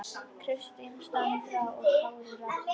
Kristín Sandra og Kári Rafn.